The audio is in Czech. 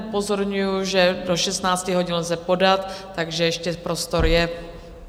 Upozorňuji, že do 16 hodin lze podat, takže ještě prostor je.